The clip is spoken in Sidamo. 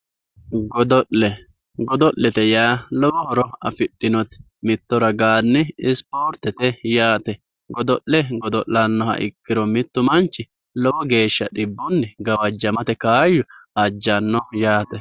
Godo'le, godo'lete yaa lowo horo afidhinote mitto ragani isportete yaate godo'le godo'lanoha ikkiro mitu mamchi lowo geeshsha dhibbunni gawajamate kaayyo ajjano yaate.